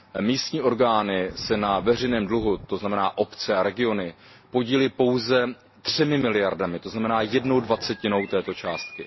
Místní orgány se na veřejném dluhu, to znamená obce a regiony, podílejí pouze třemi miliardami, to znamená jednou dvacetinou této částky.